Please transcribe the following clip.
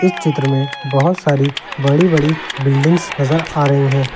चित्र में बहुत सारी बड़ी बड़ी बिल्डिंग्स नजर आ रही हैं।